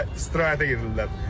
Bunlar guya istirahətə gedirlər.